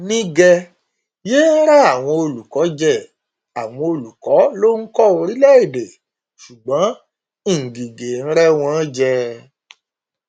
nígẹ yéé rẹ àwọn olùkọ jẹ àwọn olùkọ ló ń kọ orílẹèdè ṣùgbọn ngige ń rẹ wọn jẹ